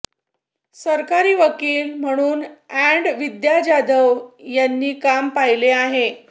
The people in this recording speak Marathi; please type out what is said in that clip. सरकारी वकील म्हणून अॅड विद्या जाधव यांनी काम पाहिले़ आहे